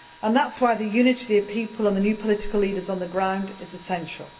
That is why the unity of the people and the new political leaders on the ground is essential.